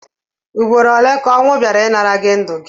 Ụgbọrọ ole ka onwu baịra ịnara gi ndu gi?